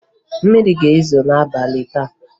Mmiri ga-ezo n'abalị taa